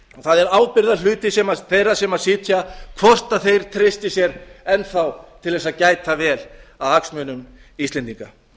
það er ábyrgðarhluti þeirra sem sitja hvort þeir treysti sér enn þá til þess að gæta vel að hagsmunum íslendinga